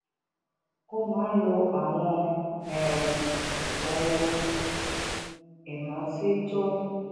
ó máa ń lo àwọn um ohun ìrántí tó